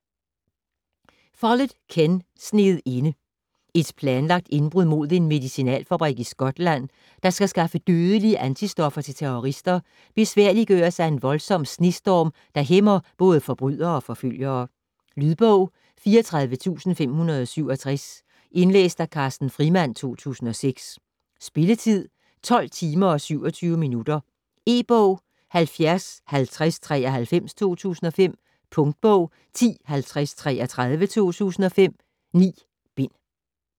Follett, Ken: Sneet inde Et planlagt indbrud mod en medicinalfabrik i Skotland, der skal skaffe dødelige antistoffer til terrorister, besværliggøres af en voldsom snestorm, der hæmmer både forbrydere og forfølgere. Lydbog 34567 Indlæst af Carsten Frimand, 2006. Spilletid: 12 timer, 27 minutter. E-bog 705093 2005. Punktbog 105033 2005. 9 bind.